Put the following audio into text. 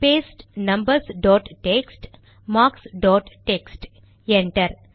paste numbers dot text marks dot text enter